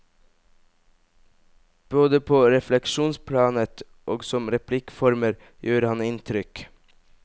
Både på refleksjonsplanet og som replikkformer gjør han inntrykk.